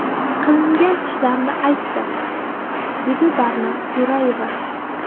Qilingan ishlarni aytdim”, deydi Barno Jo‘rayeva.